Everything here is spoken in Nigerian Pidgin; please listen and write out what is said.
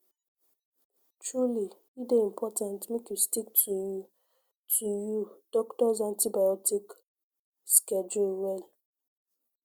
truly e dey important make you stick to you to you doctors antibiotic pause schedule well